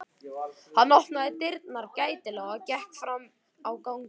Hann opnaði dyrnar gætilega og gekk fram á ganginn.